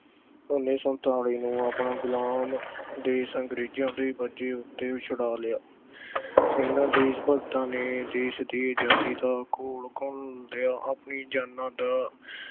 ਉੱਨੀ ਸੌ ਸਨਤਾਲੀ ਨੂੰ ਆਪਣਾ ਗੁਲਾਮ ਦੇਸ਼ ਅੰਗਰੇਜ਼ਾਂ ਦੇ ਕਬਜ਼ੇ ਤੋਂ ਛੜਾ ਲਿਆ ਅਹ ਇਹਨਾਂ ਦੇਸ਼ ਭਗਤਾਂ ਨੇ ਦੇਸ਼ ਦੀ ਆਜ਼ਾਦੀ ਲਈ ਖੂਨ ਡੋਲਿਆ, ਅਪਣੀਆਂ ਜਾਨਾਂ ਦੀ